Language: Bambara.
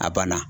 A banna